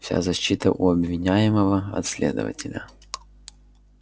вся защита у обвиняемого от следователя